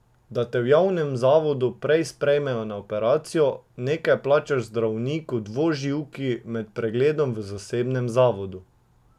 Da te v javnem zavodu prej sprejmejo na operacijo, nekaj plačaš zdravniku dvoživki med pregledom v zasebnem zavodu.